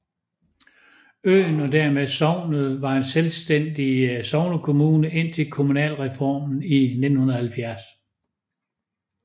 Øen og dermed sognet var en selvstændig sognekommune indtil kommunalreformen i 1970